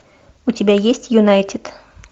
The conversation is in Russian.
у тебя есть юнайтед